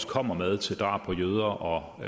kommer med til drab på jøder og